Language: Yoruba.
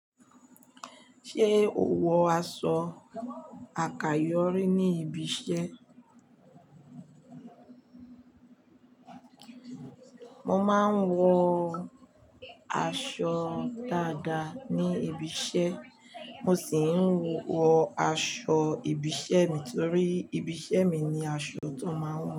Ṣé o wọ aṣọ àkayò rí ní ibi iṣẹ́? Mo máa ń wọ aṣọ dáadáa ní ibi iṣẹ́, mo sì ń wọ aṣọ ibi iṣẹ́ mi torí ibi iṣẹ́ mi ni aṣọ to máa ń wọ.